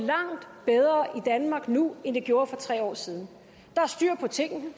danmark nu end det gjorde for tre år siden der er styr på tingene